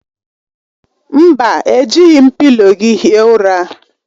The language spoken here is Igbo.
Mba, ejighi m pịlo gị hie ụra.